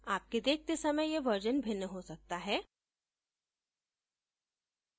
आपके देखते सयम यह version भिन्न हो सकता है